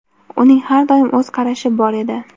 Uning har doim o‘z qarashi bor edi.